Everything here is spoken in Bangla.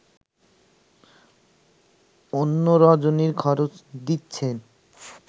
অদ্য রজনীর খরচ দিচ্ছেন